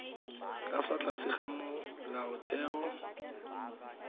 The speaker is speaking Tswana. ka fa tlase ga molaotheo